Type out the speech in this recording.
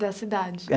da cidade.